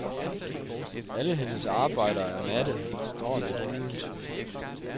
Alle hendes arbejder er matte, står lidt uldent.